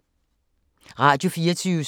Radio24syv